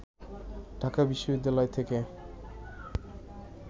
ঢাকা বিশ্ববিদ্যালয় থেকে